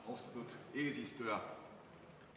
Austatud eesistuja!